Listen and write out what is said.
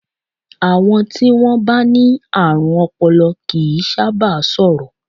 Àọn tí wọ́n bá ní àrùn ọpọlọ kì í sáábà sọ̀rọ̀.